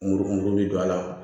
Muru mugu bɛ don a la